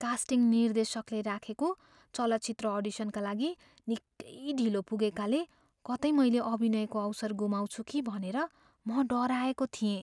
Casting निर्देशकले राखेको चलचित्र अडिसनका लागि निकै ढिलो पुगेकाले कतै मैले अभिनयको अवसर गुमाउँछु कि भनेर म डराएको थिएँ।